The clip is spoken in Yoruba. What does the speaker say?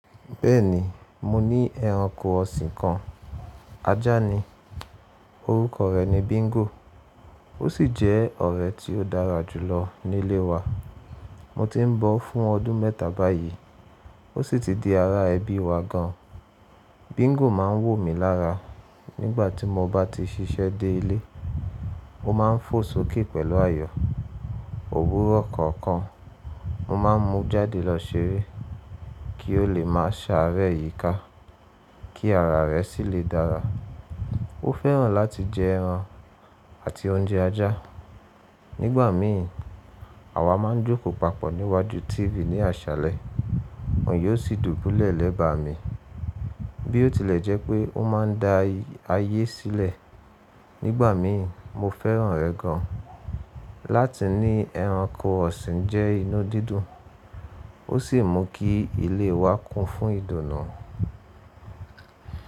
Bẹ́ẹ̀ni, mo ní ẹranko ọ̀sìn kan. Ajá ni, orúkọ rẹ̀ ni Bingo. Ó sì jẹ́ ọ̀rẹ́ tí ó dára jù lọ nílé wa. Mo ti ń bọ́ ọ́ fún ọdún mẹ́ta báyìí, ó sì ti di ara ẹbí wa gan. Bingo má ń wò mí lára nígbà tí mo bá ti ṣiṣẹ́ dé ilé. Ó má ń fò sókè pẹ̀lú ayọ̀, òwúrọ̀ kọ̀ọ̀kan. Mo má ń mú jáde lọ ṣeré kí ó lè má ṣàárẹ̀ yìí ká, kí ara rẹ̀ sì lè dára. Ó fẹ́ràn láti jẹ ẹran àti oúnjẹ ajá. Nígbà mií, àwa má ń jókòó papọ̀ níwájú TV ní àṣálẹ́, òun yóò sì dùbúlẹ̀ lẹ́bàá mi. Bí ó tilẹ̀ jẹ́ pé ó má ń da ayé sílẹ̀, nígbà míi mo fẹ́ràn rẹ̀ gan. Láti ní ẹranko ọ̀sìn jẹ́ inú dídùn, ó sì mú kí ilé wa kún fún ìdùnnú.